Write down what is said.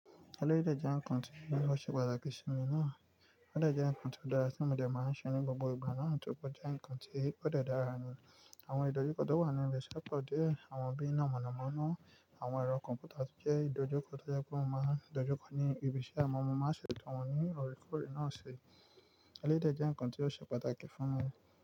Eléyi de jẹ́ nǹkan tí ó ṣe pàtàkì sí mi ná. Oè jẹ́ ǹkan tó dára tí mo dẹ máa n ṣe ní gbogbo ìgbà ná tóri pe ó jẹ́ nǹkan tí kò dẹ dára ní. Àwọn ìdojúkọ tó wà ní ibi iṣẹ́ kò dé, àwọn bíi iná mọ̀nàmọ́ná, àwọn ẹ̀rọ kọ̀m̀pútà tí jẹ́ ìdojúkọ tó jẹ pé mo máa dojú kọ ní ibi tí àwọn ọmọ máa ṣe gun wọn ní orí kòrí náà ṣe. Elédè jẹ́ nǹkan tí ó ṣe pàtàkì fún mi.